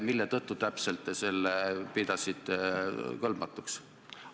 Mille tõttu täpselt te pidasite seda kõlbmatuks?